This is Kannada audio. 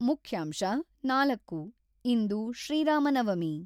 ಮುಖ್ಯಾಂಶ-ನಾಲ್ಕು ಇಂದು ಶ್ರೀ ರಾಮ ನವಮಿ.